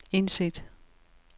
indsæt